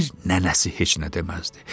Bir nənəsi heç nə deməzdi.